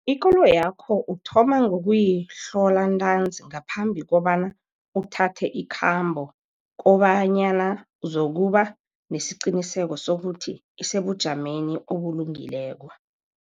Ikoloyakho uthoma ngokuyihlola ntanzi ngaphambi kobana uthathe ikhambo, kobanyana uzokuba nesiqiniseko sokuthi isebujameni obulungileko.